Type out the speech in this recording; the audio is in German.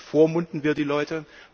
Da bevormunden wir die Leute.